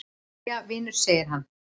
"""Jæja, vinur segir hann."""